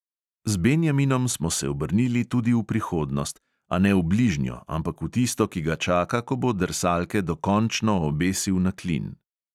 Z benjaminom smo se obrnili tudi v prihodnost, a ne v bližnjo, ampak v tisto, ki ga čaka, ko bo drsalke dokončno obesil na klin.